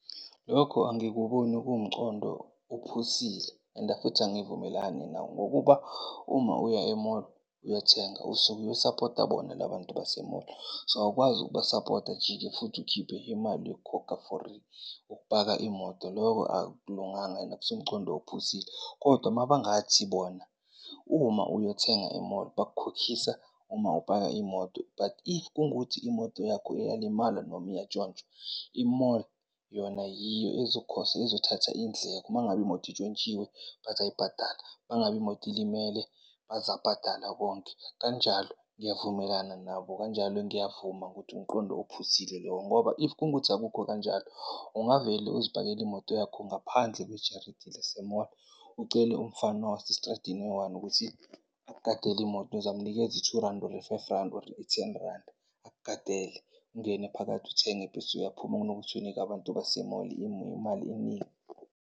Lokho angikuboni kuwumcondo ophusile and futhi angivumelani nawo. Ngokuba uma uya e-mall uyothenga usuke uyosapota bona labantu base-mall. So, awukwazi ukubasapota ujike futhi ukhiphe imali yokukhokha for ukupaka imoto. Loko akulunganga and akusiwo umcondo ophusile. Kodwa mabangathi bona uma uyothenga e-mall bakukhokhisa uma upaka imoto. But if kungukuthi imoto yakho iyalimala noma iyantshontshwa i-mall yona yiyo ezothatha iy'ndleko mangabe imoto intshontshiwe bazayibhatala, mangabe imoto ilimele, bazabhatala konke kanjalo niyavumelana nabo. Kanjalo ngiyavuma ukuthi umqondo ophusile loyo. Ngoba if kungukuthi akukho kanjalo, ungavele uzipakele imoto yakho ngaphandle kwejaridini lase-mall. Ucele umfana wasestradini oyi-one ukuthi akugadele imoto uzamnikeza i-two randi, or i-five randi, or i-ten randi. Akugadele, ungene phakathi uthenge bese uyaphuma kunokuthi uyinike abantu base-mall imali eningi.